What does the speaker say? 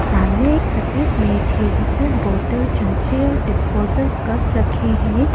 सामने एक सफेद मेज है जिसमें बॉटल चमचे और डिस्पोजल कप रखे है।